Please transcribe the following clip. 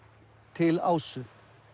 til Ásu